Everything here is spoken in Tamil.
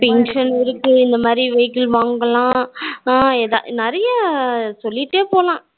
Pension இருக்கு இந்த மாதிரி vehicle வாங்கலாம் நிறைய சொல்லிட்டே போகலாம்